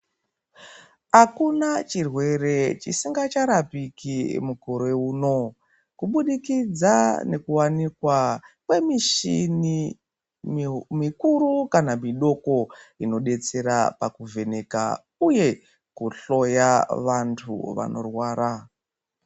Akuna chirwere chisikacharapiki mukore uno kubudikidza nekuwanikwa kwemishini mikuru kana mudoko inobetsera pakuvheneka uye kuhloya vantu vanorwara .